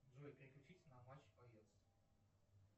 джой переключись на матч боец